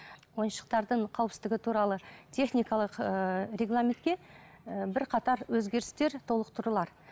ойыншықтардың қауіпсіздігі туралы техникалық ыыы регламентке ыыы бірқатар өзгерістер толықтырулар